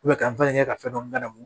ka n fa kɛ ka fɛn dɔ ladamu